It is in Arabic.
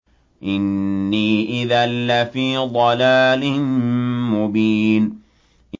إِنِّي إِذًا لَّفِي ضَلَالٍ مُّبِينٍ